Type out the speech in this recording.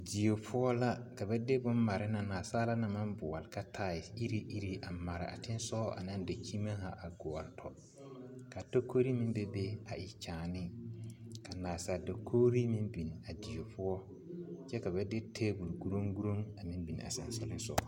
Die poɔ la ka ba de bone mare naŋ nasaala na maŋ boɔle ka taayi iri iri a mare a teŋa sɔgɔ ane a daŋkyimmie haa a gɔɔ tɔ ka takore meŋ be be a e kyaani ka nasaale dakoro meŋ beŋ a die poɔ kyɛ ka ba de tebol gulugulu a meŋ beŋ a sɔnsɔlesɔga